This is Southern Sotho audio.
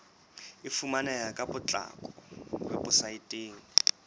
e fumaneha ka potlako weposaeteng